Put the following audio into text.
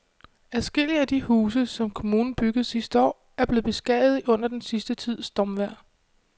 Adskillige af de huse, som kommunen byggede sidste år, er blevet beskadiget under den sidste tids stormvejr.